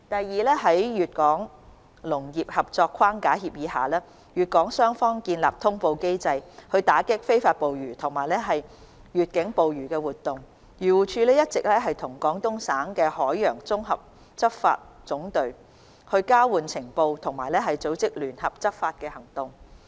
二在《粵港農業合作框架協議》下，粵港雙方建立通報機制，打擊非法捕魚及越境捕魚活動。漁護署一直與廣東省海洋綜合執法總隊交換情報及組織聯合執法行動。